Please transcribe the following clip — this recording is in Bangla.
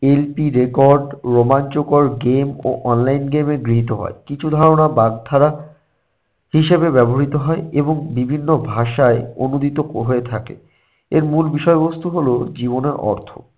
LP record রোমাঞ্চকর game ও online game এ গৃহীত হয়। কিছু ধারণা বাগধারা হিসেবে ব্যবহৃত হয় এবং বিভিন্ন ভাষায় অনূদিত ক~ হয়ে থাকে। এর মূল বিষয়বস্তু হলো জীবনের অর্থ